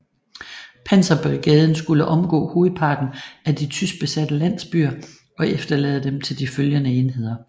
Panserbrigaden skulle omgå hovedparten af de tyskbesatte landsbyer og efterlade dem til de følgende enheder